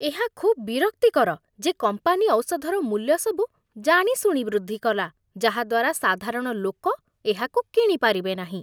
ଏହା ଖୁବ୍ ବିରକ୍ତିକର ଯେ କମ୍ପାନୀ ଔଷଧର ମୂଲ୍ୟସବୁ ଜାଣିଶୁଣି ବୃଦ୍ଧି କଲା, ଯାହା ଦ୍ୱାରା ସାଧାରଣ ଲୋକ ଏହାକୁ କିଣି ପାରିବେ ନାହିଁ ।